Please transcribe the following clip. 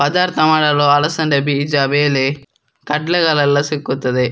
ಪದರ್ ಸಾಮಾನುಗಳು ಅಲಸಂದೆ ಬೀಜಾ ವೇಲೆ ಕಡ್ಲೆಗಳೆಲ್ಲಾ ಸಿಕ್ಕುತ್ತದೆ.